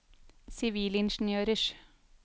sivilingeniørers